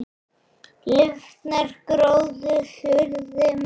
Lifnar gróður suðri mót.